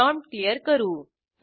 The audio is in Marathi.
प्रॉम्प्ट क्लियर करू